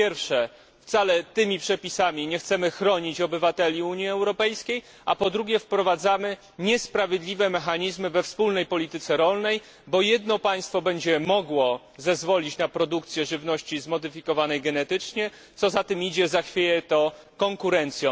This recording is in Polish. Po pierwsze wcale tymi przepisami nie chcemy chronić obywateli Unii Europejskiej, a po drugie wprowadzamy niesprawiedliwe mechanizmy we wspólnej polityce rolnej, bo jedno państwo będzie mogło zezwolić na produkcję żywności zmodyfikowanej genetycznie, a co za tym idzie, zachwieje to konkurencją.